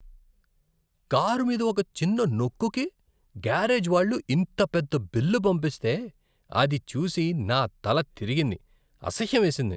Car మీద ఒక చిన్న నొక్కుకి గ్యారేజ్ వాళ్ళు ఇంత పెద్ద బిల్లు పంపిస్తే, అది చూసి నా తల తిరిగింది, అసహ్యమేసింది.